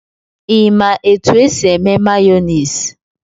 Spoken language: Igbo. Ịma etu e si eme mayonisị?